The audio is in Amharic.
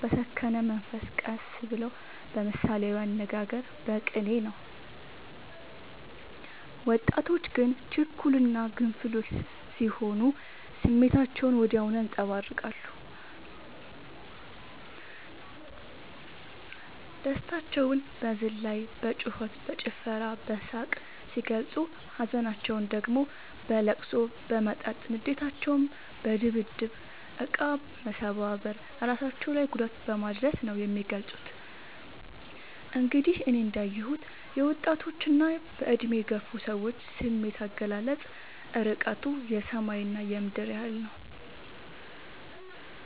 በሰከነ መንፈስ ቀስ ብለው በምሳሌያዊ አነጋገር በቅኔ ነው። ወጣቶች ግን ችኩል እና ግንፍሎች ስሆኑ ስሜታቸውን ወዲያው ያንፀባርቃሉ። ደስታቸውን በዝላይ በጩከት በጭፈራ በሳቅ ሲገልፁ ሀዘናቸውን ደግሞ በለቅሶ በመጠጥ ንዴታቸውን በድብድብ እቃ መሰባበር እራሳቸው ላይ ጉዳት በማድረስ ነው የሚገልፁት። እንግዲህ እኔ እንዳ የሁት የወጣቶች እና በእድሜ የገፉ ሰዎች ስሜት አገላለፅ እርቀቱ የሰማይ እና የምድር ያህል ነው።